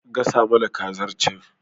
Gasa mana kazar can